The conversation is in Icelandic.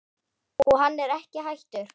Og hann er ekki hættur.